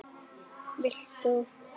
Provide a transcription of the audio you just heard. Vilt þú?